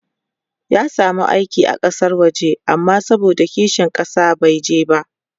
ya samu aiki a Kasan waje amma saboda kishin ƙasa bai je ba